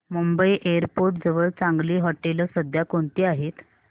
Mumbai airport जवळ चांगली हॉटेलं सध्या कोणती आहेत